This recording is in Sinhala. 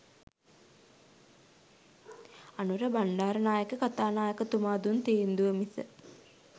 අනුර බණ්ඩාරනායක කථානායකතුමා දුන් තීන්දුවම මිස